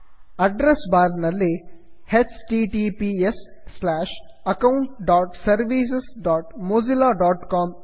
address bar ನಲ್ಲಿ httpsaccountservicesmozillacom